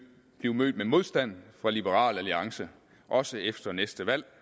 blive mødt med modstand fra liberal alliance også efter næste valg